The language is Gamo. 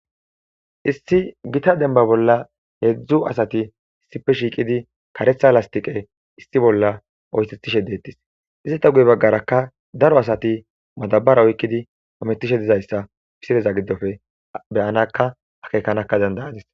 Issi gotta demba bolla 3 asati issippe shiqidi karetha lasitiqe issi bolla oysethishe dettes ete guye bagaraka daro asati madabara oyqidi hamutishe dizaysa misileza gidoppe beyanaka akekanaka danda'adis.